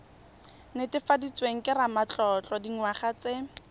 netefaditsweng ke ramatlotlo dingwaga tse